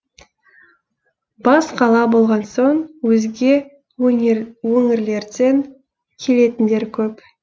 бас қала болған соң өзге өңірлерден келетіндер көп